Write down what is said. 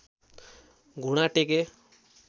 घुँडा टेके